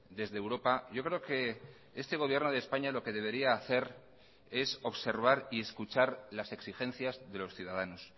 desde europa yo creo que este gobierno de españa lo que debería hacer es observar y escuchar las exigencias de los ciudadanos